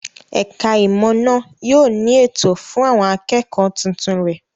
Ẹ̀ka-ìmọ̀ náà yóò ní ètò fún àwọn akẹ́kọ̀ọ́ tuntun rẹ̀.